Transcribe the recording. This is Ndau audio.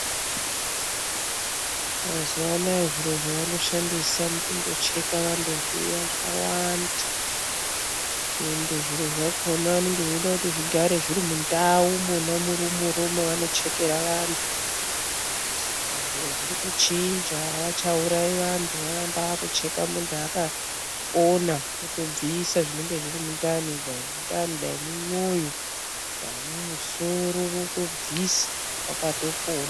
Mazuvanaya zviro zvavanoshandisa mukundocheka vantu zviya zvawanda ende zviro zvakona vanonga veida kuti zvigare zviri mundau mona murumuro mavanochekera vantu saka zviro zvirikuchinja havachaurayi vantu vakuamba ekutocheka muntu akapona votobvisa zviro zvinonga zviri mundani dai mundani dai mumwoyo dai mumusoro vakutobvisa wakatopona.